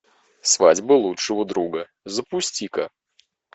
свадьба лучшего друга запусти ка